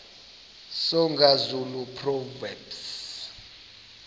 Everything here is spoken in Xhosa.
soga zulu proverbs